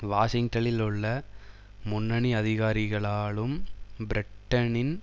வாஷிங்டலில் உள்ள முன்னணி அதிகாரிகளாலும் பிரிட்டனின்